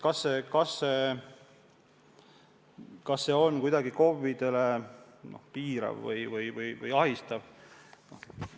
Kas see on kuidagi KOV-idele piirav või ahistav?